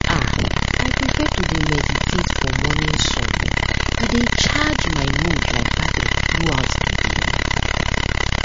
ah i prefer to dey meditate for morning sun e dey charge my mood like battery throughout the day